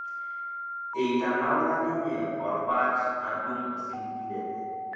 eitanaura ninye orbaat nadung' osiligi lenye